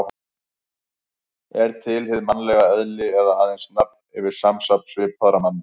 Er til hið mannlega eðli eða aðeins nafn yfir samsafn svipaðra manna?